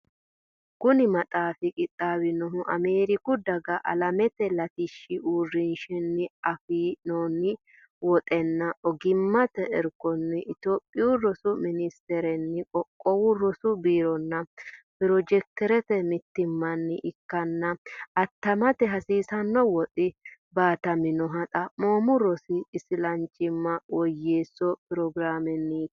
Kuni maxaafi qixxaawinohu Ameeriku Daga Alamete Latishshi Uurrinshanni afi noonni woxunna ogimmate irkonni Itophiyu Rosu Ministerenni Qoqqowu Rosu Biironna pirojekte mittimmanni ikkanna attamate hasiisanno woxi baataminohu Xaphoomu Rosi Isilanchimma Woyyeesso Pirogiraamenniiti.